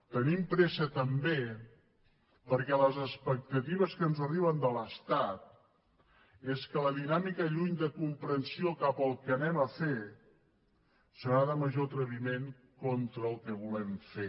tenim pressa també perquè les expectatives que ens arriben de l’estat són que la dinàmica lluny de comprensió cap al que anem a fer serà de major atreviment contra el que volem fer